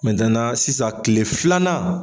sisan kile filanan.